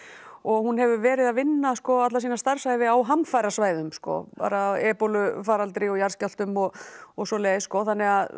og hún hefur verið að vinna alla sína starfsævi á hamfarasvæðum ebólufaraldri og jarðskjálftum og og svoleiðis þannig að